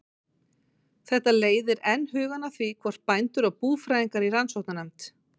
Þetta leiðir enn hugann að því, hvort bændur og búfræðingar í rannsóknarnefnd